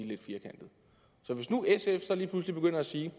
lidt firkantet så hvis nu sf lige pludselig begynder at sige